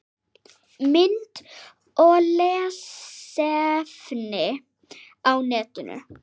Mynd og lesefni á netinu